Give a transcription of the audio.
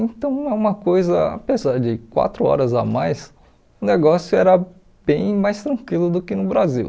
Então é uma coisa, apesar de quatro horas a mais, o negócio era bem mais tranquilo do que no Brasil.